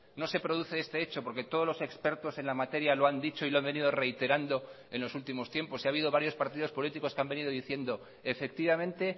no se produce este hecho porque todos los expertos en la materia lo han dicho y lo han venido reiterando en los últimos tiempos y ha habido varios partidos políticos que han venido diciendo efectivamente